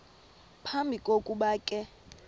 phambi kokuba ke